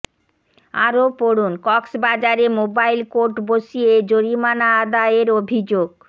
আরো পড়ুন কক্সবাজারে মোবাইল কোর্ট বসিয়ে জরিমানা আদায়ের অভিযোগ